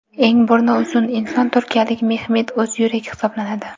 Eng burni uzun inson turkiyalik Mehmet O‘zyurek hisoblanadi.